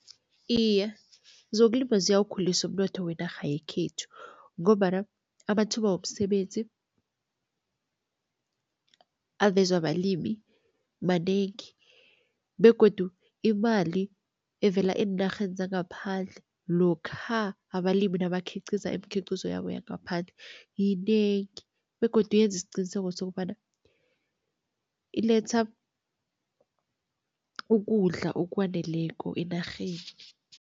Iye, zokulima ziyawukhulisa umnotho wenarha yekhethu ngombana amathuba womsebenzi avezwa balimi manengi begodu imali evela eenarheni zangaphandle, lokha abalimi nabakhiqiza imikhiqizo yabo yangaphandle yinengi begodu yenzi siqiniseko sokobana iletha ukudla okwaneleko enarheni.